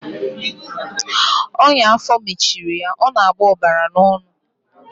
Ọnya afọ mechara ya ọ na-agbọ ọbara n'ọnụ.